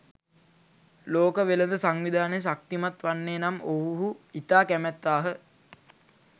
ලෝක වෙළඳ සංවිධානය ශක්තිමත් වන්නේ නම් ඔවුහු ඉතා කැමැත්තාහ